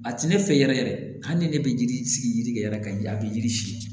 A ti ne fɛ yɛrɛ yɛrɛ hali ni ne bɛ yiri sigi yiri kɛ yɛrɛ ka ji a bi yiri si